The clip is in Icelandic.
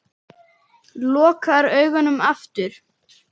Lokar augunum aftur.